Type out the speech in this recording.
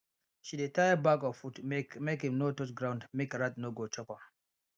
she dey tie bag of food up make make im no touch ground make rat no go chop am